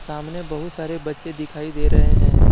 सामने बहुत सारे बच्चे दिखाई दे रहे हैं।